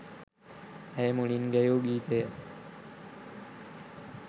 ඇය මුලින්ම ගැයූ ගීතය